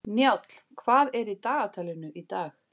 Njáll, hvað er í dagatalinu í dag?